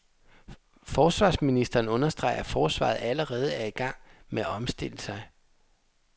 Forsvarsministeren understreger, at forsvaret allerede er i gang med at omstille sig.